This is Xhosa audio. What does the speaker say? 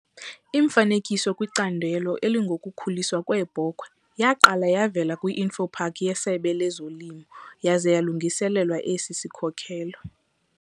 Imifanekiso kwicandelo elingokukhuliswa kweebhokhwe yaqala yavela kwi-InfoPak yeSebe lezoLimo, yaza yalungiselelwa esi sikhokelo.